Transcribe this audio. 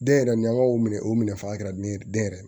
Den yɛrɛ ni an ka o minɛ o minɛ fagara ni den yɛrɛ